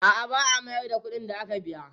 A'a, ba a mayar da kuɗin da aka biya.